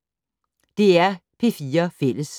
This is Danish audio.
DR P4 Fælles